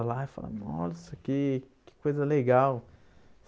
Aí Eu falava, nossa, que que coisa legal.